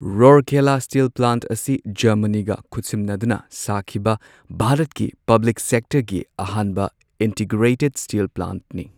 ꯔꯧꯔꯀꯦꯂꯥ steel plant ꯑꯁꯤ ꯖꯔꯃꯅꯤꯒ ꯈꯨꯠꯁꯝꯅꯗꯨꯅ ꯁꯥꯈꯤꯕ ꯚꯥꯔꯠꯀꯤ ꯄꯕ꯭ꯂꯤꯛ ꯁꯦꯛꯇꯔꯒꯤ ꯑꯍꯥꯟꯕ ꯏꯟꯇꯤꯒ꯭ꯔꯦꯇꯦꯗ ꯁ꯭ꯇꯤꯜ ꯄ꯭ꯂꯥꯟꯠꯅꯤ꯫